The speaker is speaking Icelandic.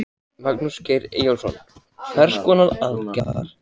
Magnús Geir Eyjólfsson: Hvers konar aðgerða?